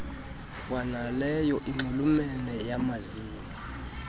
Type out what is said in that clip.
kwanaleyo inxulumene nayamazinyo